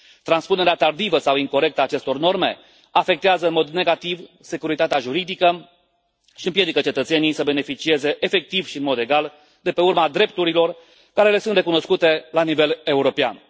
Transpunerea tardivă sau incorectă a acestor norme afectează în mod negativ securitatea juridică și împiedică cetățenii să beneficieze, efectiv și în mod egal, de pe urma drepturilor care le sunt recunoscute la nivel european.